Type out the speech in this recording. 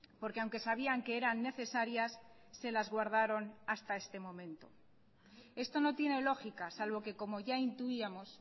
porque aunque sabían que eran necesarias se las guardaron hasta este momento esto no tiene lógica salvo que como ya intuíamos